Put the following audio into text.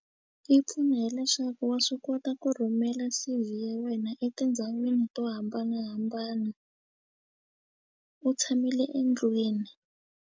Yi pfune hileswaku wa swi kota ku rhumela C_V ya wena etindhawini to hambanahambana u tshamile endlwini.